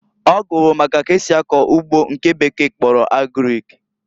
Ọ gụrụ maka k'esi akọ ugbo nke bekee kpọrọ Agrik.